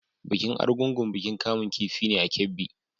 Bikin Argungu bikin kamun kifi ne a Kebbi.